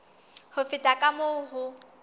ho feta ka moo ho